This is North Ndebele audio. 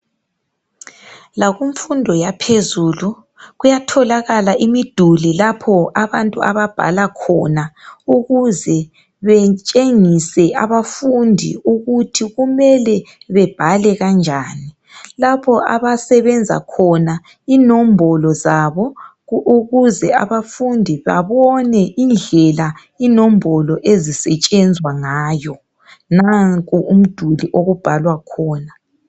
Lakumfundo yaphezulu kuyatholakala imiduli lapho abantu ababhala khona ukuze betshengise abafundi ukuthi kumele bebhale kanjani lapho abasebenza khona inombolo zabo ukuze abafundi babone indlela inombolo ezisetshenzwa ngayo nanku umduli okubhalwa khona